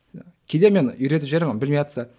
кейде мен үйретіп жіберемін білмейатса